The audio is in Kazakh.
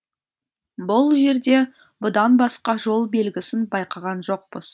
бұл жерде бұдан басқа жол белгісін байқаған жоқпыз